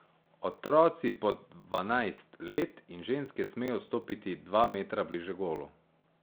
Otroci pod dvanajst let in ženske smejo stopiti dva metra bliže golu.